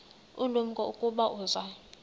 ulumko ukuba uza